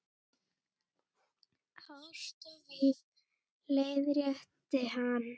Ást og víf- leiðrétti hann.